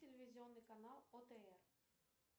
телевизионный канал отр